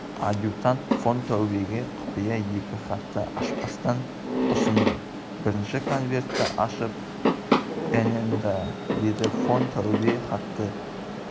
адъютант фон таубеге құпия екі хатты ашпастан ұсынды бірінші конвертті ашып нн-да деді фон таубе хатты